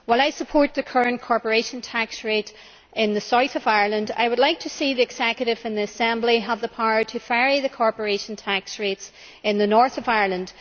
While I support the current corporation tax rate in the south of Ireland, I would like to see the executive and assembly have the power to vary the corporation tax rates in the north of Ireland.